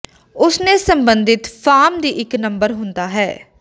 ਉਸ ਨੇ ਸਬੰਧਿਤ ਫਾਰਮ ਦੀ ਇੱਕ ਨੰਬਰ ਹੁੰਦਾ ਹੈ